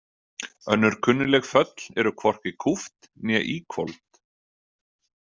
Önnur kunnugleg föll eru hvorki kúpt né íhvolfd.